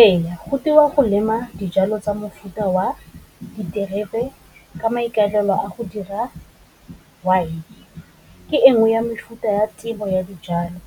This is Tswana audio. Ee, go teiwa go lema dijalo tsa mofuta wa diterebe ka maikaelelo a go dira wine. Ke engwe ya mefuta ya tiro ya dijalo